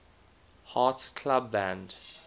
hearts club band